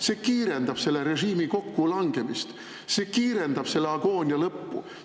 See kiirendab selle režiimi kokkulangemist, see kiirendab selle agoonia lõppu.